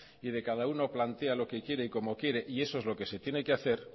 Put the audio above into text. y de cada uno plantea lo que quiere y cómo quiere y eso es lo que se tiene que hacer